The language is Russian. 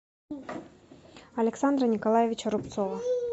александра николаевича рубцова